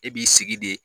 E b'i sigi de